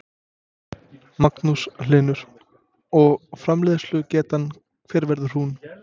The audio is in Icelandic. Magnús Hlynur: Og framleiðslugetan hver verður hún?